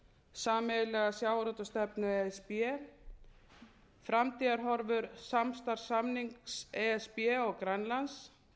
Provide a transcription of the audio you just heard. sameiginlega sjávarútvegsstefnu e s b framtíðarhorfur samstarfssamnings e s b og grænlands